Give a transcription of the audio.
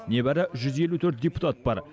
небәрі жүз елу төрт депутат бар